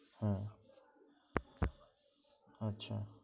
আচ্ছা আচ্ছা